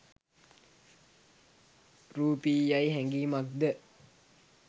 රූපියයි හැඟීමක්ද